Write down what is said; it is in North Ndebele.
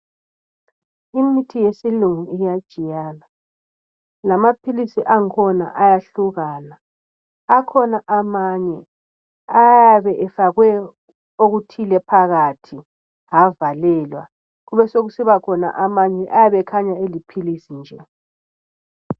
Imithi eyesilungu iyatshiyana lamaphilisi akhona ayahlukana. Akhona amanye ayabe efakwe okuthile phakathi avalelwa kubesekusiba khona amanye ayabe ekhanya eliphilisi nje.